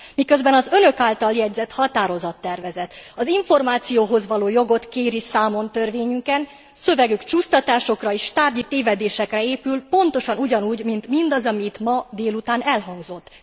Miközben az Önök által jegyezett határozattervezet az információhoz való jogot kéri számon törvényünkön, szövegük csúsztatásokra és tárgyi tévedésekre épül, pontosan ugyanúgy, mint mindaz, ami itt délután elhangzott.